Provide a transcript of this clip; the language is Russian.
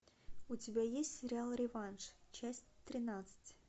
у тебя есть сериал реванш часть тринадцать